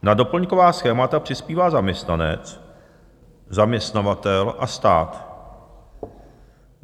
Na doplňková schémata přispívá zaměstnanec, zaměstnavatel a stát.